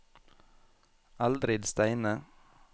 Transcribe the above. Eldrid Steine